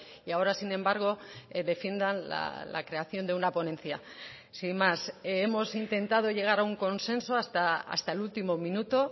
y ahora sin embargo defiendan la creación de una ponencia sin más hemos intentado llegar a un consenso hasta el último minuto